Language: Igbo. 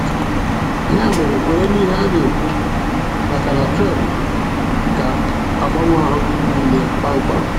Ya mere kwere n'ihe a na-ekwu, makana Tren ga-agbanwe ahụ gị niile kpam kpam.